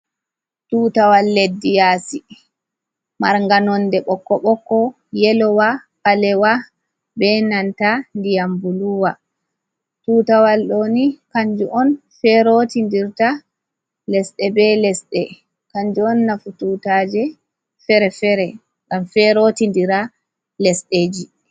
Tutawal leddi yasi marganonde bokko boko yelowa palewa ,be nanta diyam buluwa tutawal doni kanju on ferotindirta lesde be lesde kanju on nafu tutaje fere-fere gam fe rotidira lesdeji.